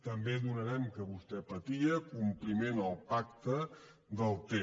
també donarem que vostè patia compliment al pacte del ter